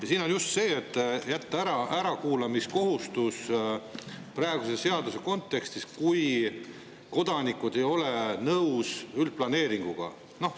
Asi on just selles, et jätta ära praeguses seaduses olev ärakuulamise kohustus, kui kodanikud ei ole üldplaneeringuga nõus.